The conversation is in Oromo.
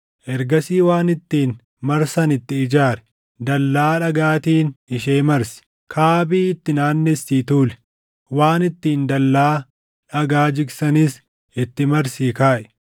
Ergasii waan ittiin marsan itti ijaari; dallaa dhagaatiin ishee marsi; kaabii itti naannessii tuuli; waan ittiin dallaa dhagaa jigsanis itti marsii kaaʼi.